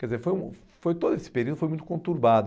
Quer dizer, foi um, foi todo esse período foi muito conturbado.